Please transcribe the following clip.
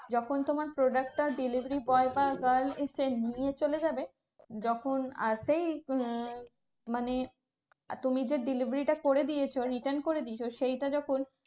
যখন তোমার product টা delivery boy বা girls এসে নিয়ে চলে যাবে। যখন আর সেই উম মানে তুমি যে delivery টা করে দিয়েছো return করে দিয়েছো সেইটা যখন